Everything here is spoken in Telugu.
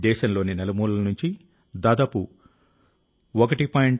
దేశంలోని నలుమూలల నుంచి దాదాపు 1